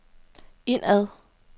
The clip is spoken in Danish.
indad